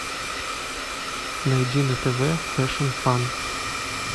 найди на тв фэшн фан